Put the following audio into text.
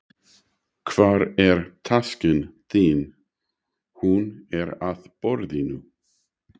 Hvar er taskan þín? Hún er á borðinu.